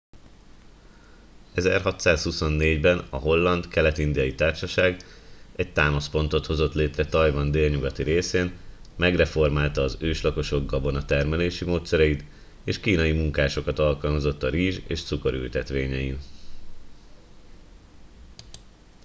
1624 ben a holland kelet indiai társaság egy támaszpontot hozott létre tajvan délnyugati részén megreformálta az őslakosok gabonatermelési módszereit és kínai munkásokat alkalmazott a rizs és cukorültetvényein